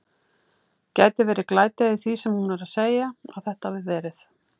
Gæti verið glæta í því sem hún er að segja. að þetta hafi verið.